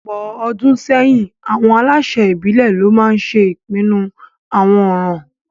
Ọ̀pọ̀ ọdún sẹ́yìn, àwọn aláṣẹ ìbílẹ̀ lo maa ńse ipinnu àwọn ọ̀ràn